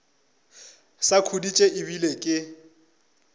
sa khuditše e bile ke